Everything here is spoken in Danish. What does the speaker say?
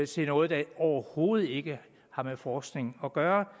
til noget der overhovedet ikke har med forskning at gøre